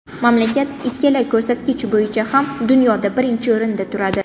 Mamlakat ikkala ko‘rsatkich bo‘yicha ham dunyoda birinchi o‘rinda turadi.